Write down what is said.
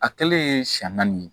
A kɛlen siɲɛ naani ye